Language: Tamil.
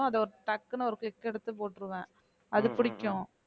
அது ஒரு டக்குனு ஒரு click எடுத்து போட்டிருவேன் அது பிடிக்கும்